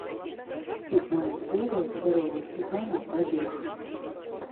седьмая серия первого сезона побег